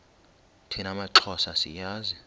thina maxhosa siyazi